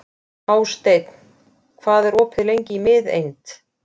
Hásteinn, hvað er opið lengi í Miðeind?